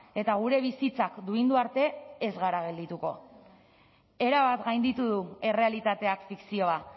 eta gure bizitzak duindu arte ez gara geldituko erabat gainditu du errealitateak fikzioa